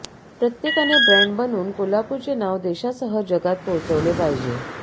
प्रत्येकाने ब्रॅण्ड बनून कोल्हापूरचे नाव देशासह जगात पोहचवले पाहिजे